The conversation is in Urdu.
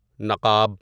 نقاب